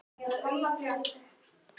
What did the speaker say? Svo bara.